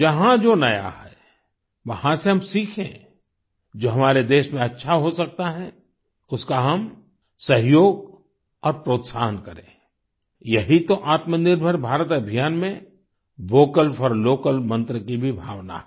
जहाँ जो नया है वहां से हम सीखें जो हमारे देश में अच्छा हो सकता है उसका हम सहयोग और प्रोत्साहन करें यही तो आत्मनिर्भर भारत अभियान में वोकल फोर लोकल मन्त्र की भी भावना है